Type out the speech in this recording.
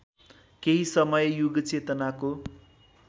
केही समय युगचेतनाको